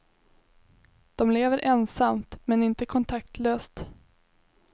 De lever ensamt, men inte kontaktlöst.